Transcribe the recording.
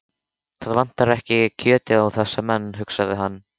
Það vantar ekki kjötið á þessa menn, hugsaði hann.